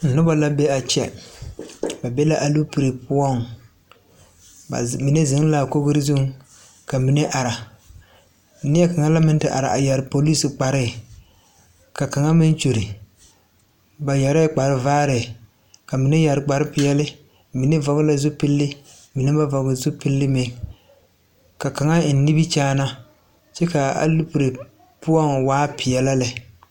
Noba la be a kyɛ ba be la alopelee poɔŋ bamine zeŋ la a kogri zuŋ ka mine are neɛkaŋa meŋ la a te are a eŋ polisi kparre ka kaŋa meŋ gyuri ba yɛre la kparevaare ka mine meŋ yɛre kparrepeɛle mine vɔgle zupili mine ba vɔgeli meŋ ka kaŋa eŋ nimikyaana kyɛ ka alopelee poɔ waa pelaa lɛ.